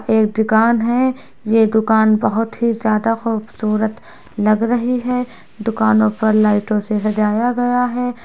एक दुकान है ये दुकान बहुत ही ज्यादा खूबसूरत लग रही है दुकानों पर लाइटो से सजाया गया है।